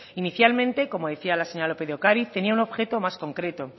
inicialmente como decía la señora lópez de ocariz tenía un objeto más concreto